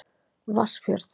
Vatnsfjörð